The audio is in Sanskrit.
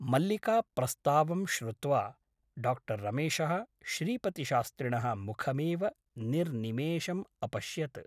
मल्लिकाप्रस्तावं श्रुत्वा डा रमेशः श्रीपतिशास्त्रिणः मुखमेव निर्निमेषम् अपश्यत्।